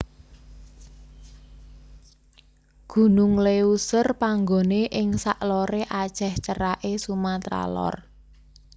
Gunung Léuser panggoné ing sak loré Aceh ceraké Sumatra Lor